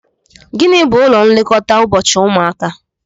Gịnị bú ụlọ nlekọta ụbọchị ụmụaka?